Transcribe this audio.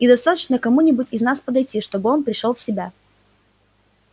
и достаточно кому-нибудь из нас подойти чтобы он пришёл в себя